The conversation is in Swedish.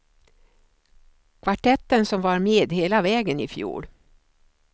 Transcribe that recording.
Kvartetten som var med hela vägen i fjol.